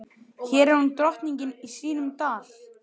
Hér er hún drottning í sínum dal.